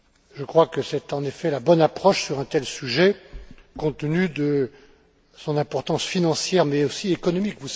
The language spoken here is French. Je crois que c'est en effet la bonne approche sur un tel sujet compte tenu de son importance financière, mais aussi économique.